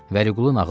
Vəliqulu nağıl elədi.